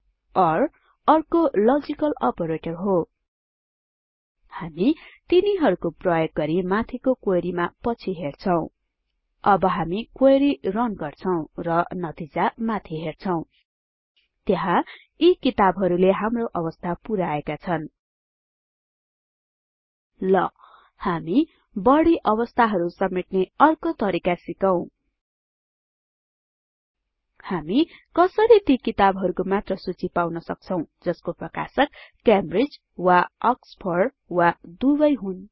ओर अर्को logical operator हो हामी तिनीहरुको प्रयोग गरि माथिको क्वेरी मा पछि हेर्छौं अब हामी क्वेरी रन गर्छौं र नतिजा माथि देख्छौं त्यहाँ यी किताबहरुले हाम्रो अवस्था पुराएका छन ल हामी बढि अवस्थाहरु समेट्ने अर्को तरिका सिकौं हामी कसरी ती किताबहरुको मात्र सूची पाउन सक्छौं जसको प्रकाशक क्यामब्रिज वा अक्सफोर्ड वा दुबै हुन्